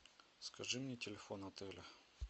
скажи мне телефон отеля